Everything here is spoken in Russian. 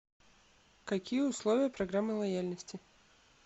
какие условия программы лояльности